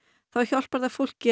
þá hjálpar það fólki